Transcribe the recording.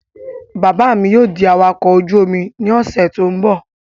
Bàbá mi yóò di awakọ̀ ojú-omi ní ọ̀sẹ̀ tó n bọ̀